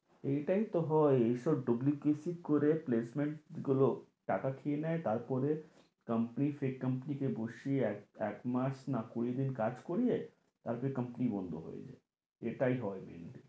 এইটাই তো হয় এই সব dublicity করে placement গুলো টাকা খেয়ে নেয় কোম্পানি কোম্পানিকে এক এক মাস না কুড়ি দিন কাজ করিয়ে তারপরে কোম্পানি বন্ধ হয়ে যায় এটাই হয়